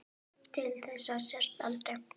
Til þess að sjást aldrei.